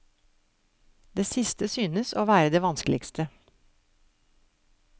Det siste synes å være det vanskeligste.